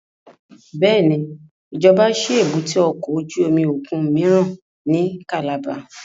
Bẹ́ẹ̀ni, ijọba ṣi èbúté ọkọ ojú omi okun miiran ni Calabar